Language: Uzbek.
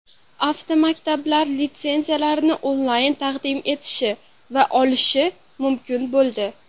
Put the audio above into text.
Avtomaktablar litsenziyalarni onlayn taqdim etishi va olishi mumkin bo‘ldi.